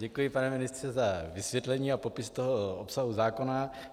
Děkuji, pane ministře, za vysvětlení a popis toho obsahu zákona.